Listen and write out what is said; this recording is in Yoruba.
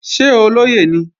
Ṣé olóyè ni?